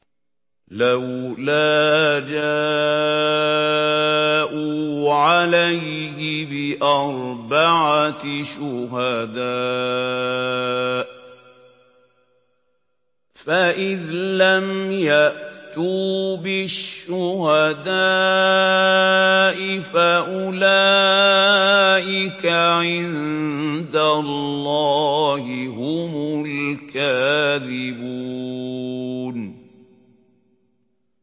لَّوْلَا جَاءُوا عَلَيْهِ بِأَرْبَعَةِ شُهَدَاءَ ۚ فَإِذْ لَمْ يَأْتُوا بِالشُّهَدَاءِ فَأُولَٰئِكَ عِندَ اللَّهِ هُمُ الْكَاذِبُونَ